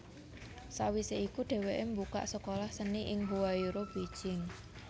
Sawisé iku dhèwèké mbukak sekolah seni ing Huairou Beijing